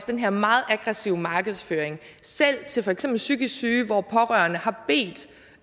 den her meget aggressive markedsføring selv til for eksempel psykisk syge hvor pårørende har bedt